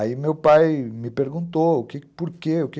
Aí meu pai me perguntou por quê, o que é que